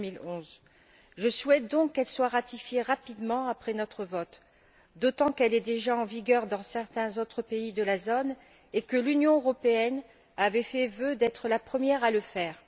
2011. Je souhaite donc qu'elle soit ratifiée rapidement après notre vote, d'autant qu'elle est déjà en vigueur dans certains autres pays de la zone et que l'Union européenne avait fait vœu d'être la première à le faire.